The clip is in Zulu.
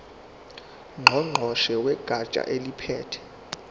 ngqongqoshe wegatsha eliphethe